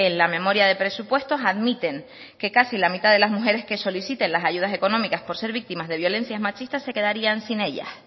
la memoria de presupuestos admiten que casi la mitad de las mujeres que soliciten las ayudas económicas por ser víctimas de violencias machistas se quedarían sin ella